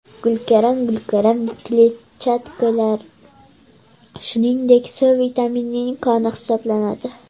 Gulkaram Gulkaram kletchatkalar, shuningdek, C vitaminining koni hisoblanadi.